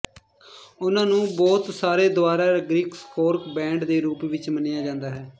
ਉਹਨਾਂ ਨੂੰ ਬਹੁਤ ਸਾਰੇ ਦੁਆਰਾ ਗ੍ਰਿਸਕੋਰਕ ਬੈਂਡ ਦੇ ਰੂਪ ਵਿੱਚ ਮੰਨਿਆ ਜਾਂਦਾ ਹੈ